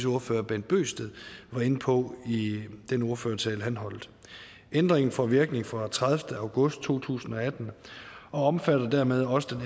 ordfører bent bøgsted var inde på i den ordførertale han holdt ændringen får virkning fra den tredivete august to tusind og atten og omfatter dermed også den